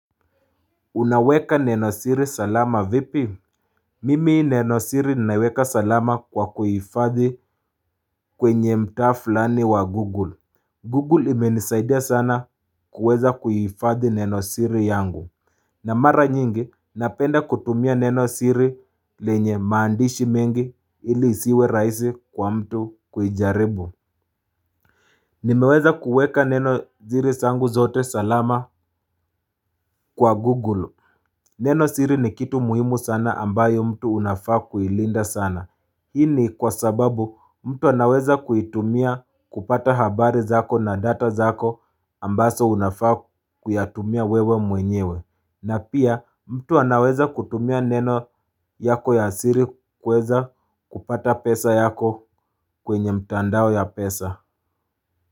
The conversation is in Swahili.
Unaweka neno siri salama vipi? Mimi neno siri ninaweka salama kwa kuhifadhi kwenye mtaa fulani wa Google. Google imenisaidia sana kuweza kuhifadhi neno siri yangu. Na mara nyingi, napenda kutumia neno siri lenye maandishi mengi ili isiwe raisi kwa mtu kujaribu. Nimeweza kuweka neno siri sangu zote salama kwa Google. Neno siri ni kitu muhimu sana ambayo mtu unafaa kuilinda sana. Hii ni kwa sababu mtu anaweza kuitumia kupata habari zako na data zako ambazo unafaa kuyatumia wewe mwenyewe. Na pia mtu anaweza kutumia neno yako ya siri kuweza kupata pesa yako kwenye mtandao ya pesa.